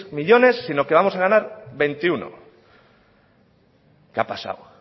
millónes sino que vamos a ganar veintiuno qué ha pasado